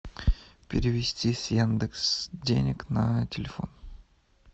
перевести с яндекс денег на телефон